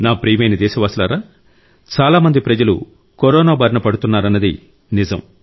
నా ప్రియమైన దేశవాసులారా చాలా మంది ప్రజలు కరోనా బారిన పడుతున్నారన్నది నిజం